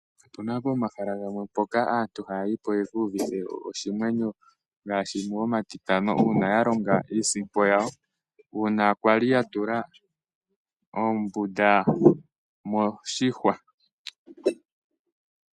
Opuna pomahala gamwe mpoka aantu ha ya yi po yeki iyuvithe oshimwenyo ngaashi momatitano, uuna ya longa iisimpo yawo, uuna kwali ya tula oombunda moshihwa.